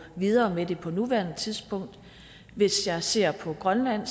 videre med det på nuværende tidspunkt hvis jeg ser på grønland